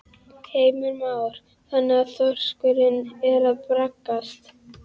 Heimir Már: Þannig að þorskurinn er að braggast?